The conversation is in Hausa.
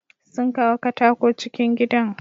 Sun kawo katako cikin gidan.